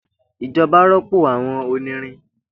Ijoba rọpo awọn onirin